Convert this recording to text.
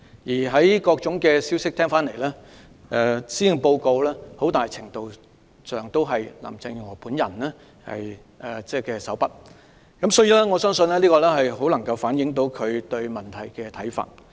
根據各方消息，施政報告在很大程度上出自林鄭月娥手筆，因此我相信施政報告極能反映她對問題的看法。